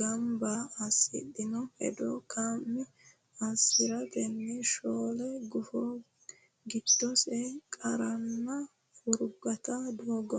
gamba assidhini hedo kaima assi ratenni shoole gufo giddose qarranna furgaote doogo.